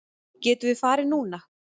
Getum við farið núna?